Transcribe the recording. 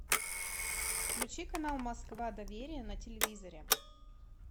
включи канал москва доверие на телевизоре